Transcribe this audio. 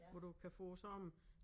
Hvor du kan få sådan